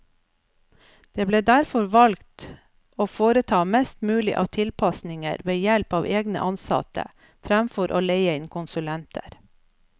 Det ble derfor valgt å foreta mest mulig av tilpasninger ved help av egne ansatte, fremfor å leie inn konsulenter.